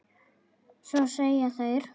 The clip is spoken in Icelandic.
Svo segja þeir.